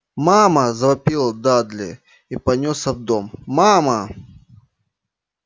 мама завопил дадли и понёсся в дом мама